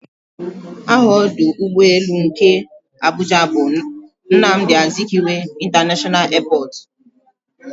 Aha ọdụ ụgbọelu nke Abuja bu "Nnamdi Azikiwe International airport"